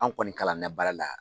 Anw kɔni kalannɛ baara la.